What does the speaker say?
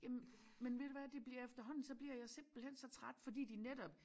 Jamen men ved du hvad det bliver efterhånden så bliver jeg simpelthen så træt fordi de netop